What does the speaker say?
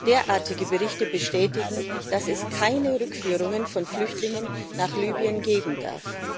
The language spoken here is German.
Derartige Berichte bestätigen, dass es keine Rückführungen von Flüchtlingen nach Libyen geben darf.